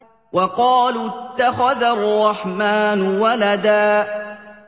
وَقَالُوا اتَّخَذَ الرَّحْمَٰنُ وَلَدًا